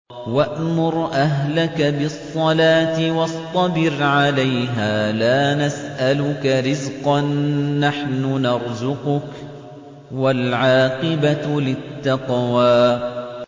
وَأْمُرْ أَهْلَكَ بِالصَّلَاةِ وَاصْطَبِرْ عَلَيْهَا ۖ لَا نَسْأَلُكَ رِزْقًا ۖ نَّحْنُ نَرْزُقُكَ ۗ وَالْعَاقِبَةُ لِلتَّقْوَىٰ